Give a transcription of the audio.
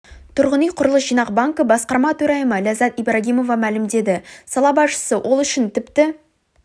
тұрғын үй құрылыс жинақ банкі басқарма төрайымы ләззат ибрагимова мәлімдеді сала басшысы ол үшін тіпті